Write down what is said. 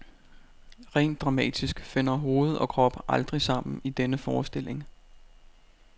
Rent dramatisk finder hoved og krop aldrig sammen i denne forestilling.